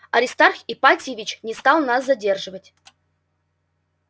аристарх ипатьевич не стал нас задерживать